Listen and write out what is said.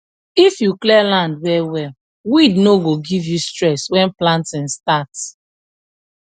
if you clear land well well weed no go give you stress when planting start